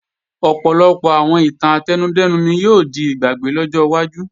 Ọ̀pọ̀lọpọ̀ àwọn ìtàn átẹnudẹ́nu ni yóò di ìgbàgbé lọ́jọ́ wájú